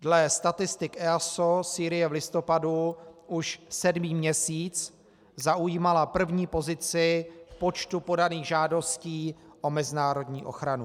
Dle statistik EASO Sýrie v listopadu už sedmý měsíc zaujímala první pozici v počtu podaných žádostí o mezinárodní ochranu.